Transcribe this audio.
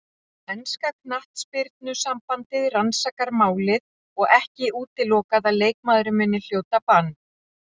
Enska knattspyrnusambandið rannsakar málið og ekki útilokað að leikmaðurinn muni hljóta bann.